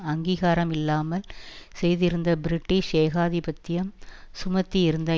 அங்கீகாரம் இல்லாமல் செய்திருந்த பிரிட்டிஷ் ஏகாதிபத்தியம் சுமத்தியிருந்த